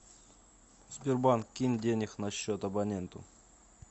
сбербанк кинь денег на счет абоненту